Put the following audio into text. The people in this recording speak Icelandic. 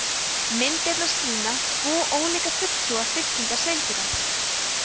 myndirnar sýna tvo ólíka fulltrúa fylkingar seildýra